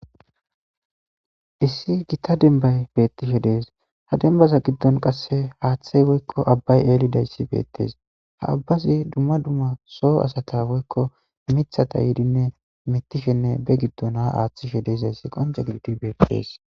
Issi gita denbay bettishe dees ha dembaza giddon qasse haaththey woykko abbay eelidayssi beettees ha abbazi dumma dumma soo asaka woykko mithata yiidinne mittishenne be giddona aaththishe deezayssi qonca giddi beettees.